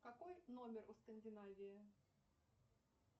какой номер у скандинавии